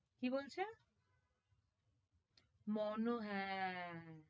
কি বলছে? মনো হ্যাঁ